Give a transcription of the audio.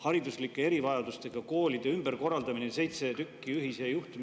Hariduslike erivajadustega koolide ümberkorraldamine – seitse tükki ühise juhtimise …